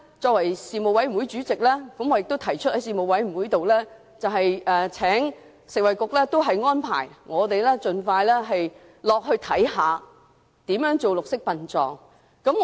作為事務委員會主席，我亦曾在事務委員會上促請食物及衞生局，為議員盡快安排參觀綠色殯葬的具體情況。